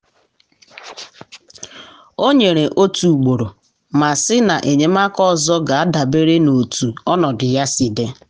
ọ nyere otu ugboro ma sị na enyemaka ọzọ ga adabere n’otú ọnọdụ ya si dị.